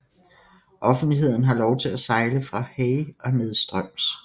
Offentligheden har lov til at sejle fra Hay og nedstrøms